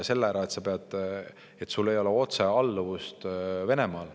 Põhikirja muudatuse tõttu sul ei ole otsealluvust Venemaale.